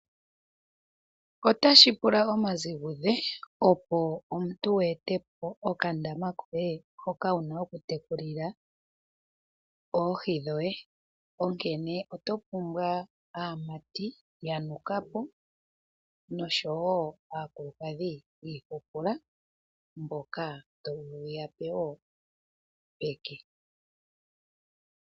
Otashi pula omazigudhe opo omuntu wu ete po okandaama koye hoka wu na okutekulila oohi dhoye. Onkene oto pumbwa aamati ya nuka po, oshowo aakulukadhi yi ihupula mboka to vulu wu ya pe wo peke.